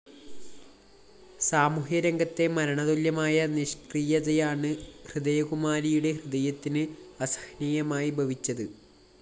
സാമൂഹ്യ രംഗത്തെ മരണതുല്യമായ നിഷ്‌ക്രിയതയാണ് ഹൃദയകുമാരിയുടെ ഹൃദയത്തിന് അസഹനീയമായി ഭവിച്ചത്